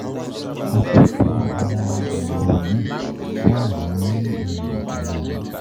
Àkójọ àwọn àyẹ̀wò náà wà nísàlẹ̀ yìí.